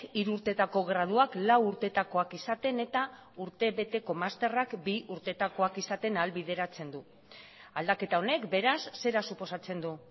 hiru urtetako graduak lau urtetakoak izaten eta urtebeteko masterrak bi urtetakoak izaten ahalbideratzen du aldaketa honek beraz zera suposatzen du